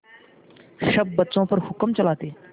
सब बच्चों पर हुक्म चलाते